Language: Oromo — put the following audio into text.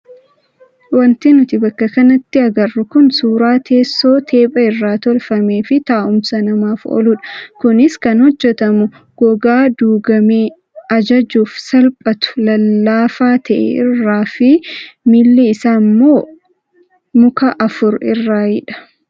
Wanti nuti bakka kanatti agarru kun suuraa teessoo teepha irraa tolfamee fi taa'umsa namaaf ooludha. Kunis kan hojjatamu gogaa duugamee ajajuuf salphatu lallaafaa ta'e irraa fi miilli isaa immoo muka afur irraayidha.